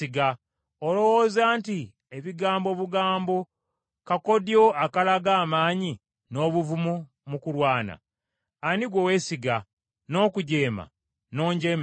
Olowooza nti ebigambo obugambo, kakoddyo akalaga amaanyi n’obuvumu mu kulwana? Ani gwe weesiga, n’okujeema n’onjeemera?